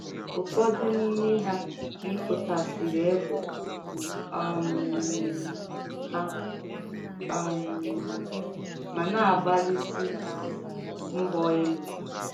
Ụ́fọdù n’ìmè hà mịpụ̀tàsịrị égbè um hà um mà nà-àgbálísị mgbọ̀ élú.